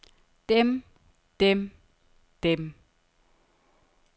dem dem dem